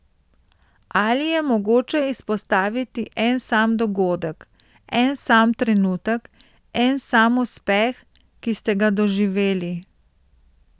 Ali je mogoče izpostaviti en sam dogodek, en sam trenutek, en sam uspeh, ki ste ga doživeli?